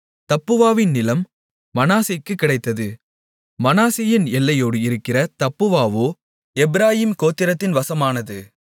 தப்புவாவின் நிலம் மனாசேக்குக் கிடைத்தது மனாசேயின் எல்லையோடு இருக்கிற தப்புவாவோ எப்பிராயீம் கோத்திரத்தின் வசமானது